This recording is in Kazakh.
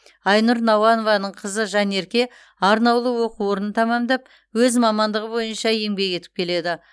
айнұр науанованың қызы жанерке арнаулы оқу орнын тәмамдап өз мамандығы бойынша еңбек етіп келеді